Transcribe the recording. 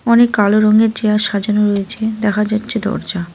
অনেক কালো রঙের চেয়ার সাজানো রয়েছে দেখা যাচ্ছে দরজা।